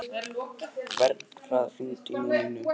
Vernharð, hringdu í Númínu.